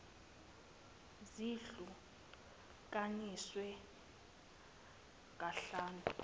zihlu kaniswe kahlanu